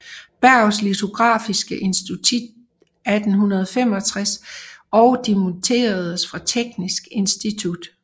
Berghs litografiske Institut 1865 og dimitteredes fra Teknisk Institut